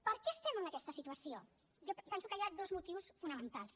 per què estem en aquesta situació jo penso que hi ha dos motius fonamentals